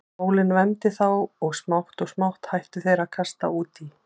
Sólin vermdi þá og smátt og smátt hættu þeir að kasta út í.